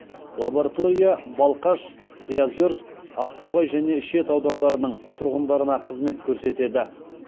лаборатория балқаш приозерск ақтоғай және шет аудандарының тұрғындарына қызмет көрсетеді